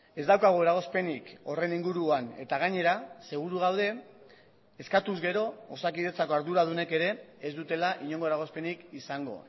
ez daukagu eragozpenik horren inguruan eta gainera seguru gaude eskatuz gero osakidetzako arduradunek ere ez dutela inongo eragozpenik izango